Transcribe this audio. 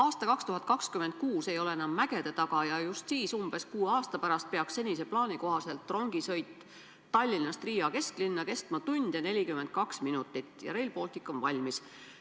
Aasta 2026 ei ole enam mägede taga ja just siis, umbes kuue aasta pärast, peab senise plaani kohaselt rongisõit Tallinnast Riia kesklinna kestma tund ja 42 minutit ja Rail Baltic olema valmis.